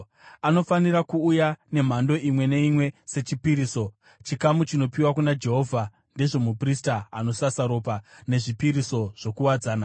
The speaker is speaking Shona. Anofanira kuuya nemhando imwe neimwe sechipiriso, chikamu chinopiwa kuna Jehovha; ndezvomuprista anosasa ropa nezvipiriso zvokuwadzana.